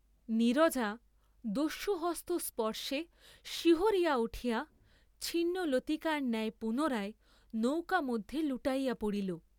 নীরজা দস্যুহস্ত স্পর্শে শিহরিয়া উঠিয়া ছিন্নলতিকার ন্যায় পুনরায় নৌকা মধ্যে লুটাইয়া পড়িল।